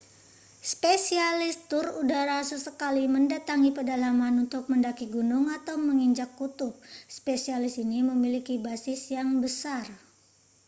spesialis tur udara sesekali mendatangi pedalaman untuk mendaki gunung atau menginjai kutub spesialis ini memiliki basis yang besar